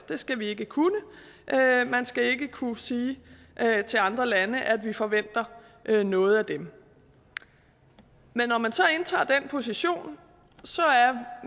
det skal vi ikke kunne man skal ikke kunne sige til andre lande at vi forventer noget af dem men når man så indtager den position